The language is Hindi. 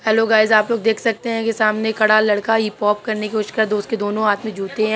हेल्लो गाइज आप लोग देख सकते हैं। ये सामने खड़ा लड़का हिप हॉप करने की कोशिश कर रहा उसके दोनों हाथ में जुत्ते हैं।